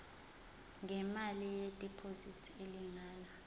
ngemali yediphozithi elingana